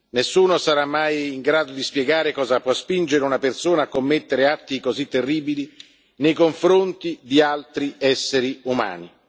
Nessuno sarà mai in grado di spiegare cosa può spingere una persona a commettere atti così terribili nei confronti di altri esseri umani.